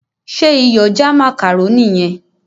ṣe Iyọ̀ já macaroni yen?